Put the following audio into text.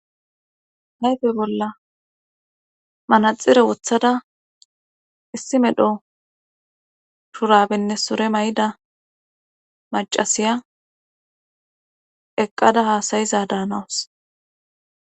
hayfe bolla manaxire wothada issi medho turabenne sore may7ida macasiya eqqada haasayiza daanawus